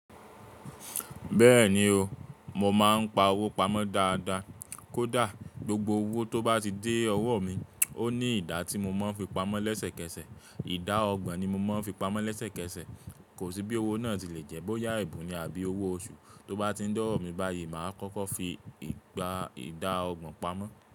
Bẹ́ẹ̀ni o, mo máa ń pa owó pamọ́ dáadáa. Kódà gbogbo owó tó bá ti dé ọwọ́ mi, ó ní ìdá tí mo ń fi pamọ́ lẹ́sẹ̀kẹsẹ̀. Ìdá ọgbọ̀n ni mo ń fi pamọ́ lẹ́sẹ̀kẹsẹ̀. Kò sí bí owó náà ti le jẹ́ bóyá ẹ̀bùn ni àbí owó oṣù. Tó bá ti dẹ́ ọwọ́ mi báyìí, màá kọ́kọ́ fi ìgbà ìdá ọgbọ̀n pamọ́.